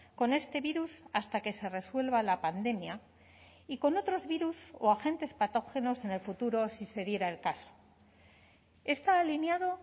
con este virus hasta que se resuelva la pandemia y con otros virus o agentes patógenos en el futuro si se diera el caso está alineado